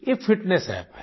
ये fitness app है